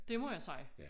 Det må jeg sige